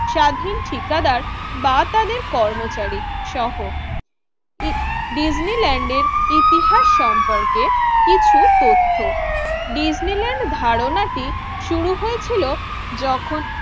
স্বাধীন ঠিকাদার বা তাদের কর্মচারী সহ ই ডিজনিল্যান্ড এর ইতিহাস সম্পর্কে কিছু তথ্য। ডিজনিল্যান্ড ধারণাটি শুরু হয়েছিল যখন